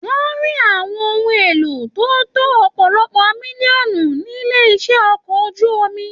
Wọn rí àwọn ohùn èlò tó tó ọpọlọpọ mílíọ̀nù nílé iṣẹ ọkọ̀ ojú omi.